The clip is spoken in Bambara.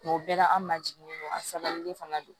o bɛɛ la an ma jiginin don a sabalilen fana don